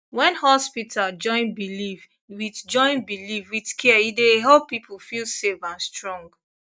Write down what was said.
when hospital join belief with join belief with care e dey help people feel safe and strong